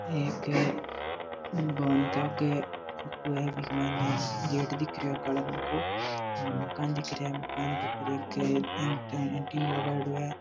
एक भवन का फोटो है बीक मायने गेट दिख रियो है काला रंग को मकान दिख रहा है मकान के ऊपर एक एन्टिन लगाओड़ो है।